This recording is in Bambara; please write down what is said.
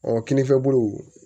Ɔ kinifɛ bolo